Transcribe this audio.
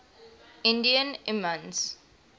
indian imams